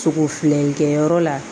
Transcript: Sogo filɛ nin kɛyɔrɔ la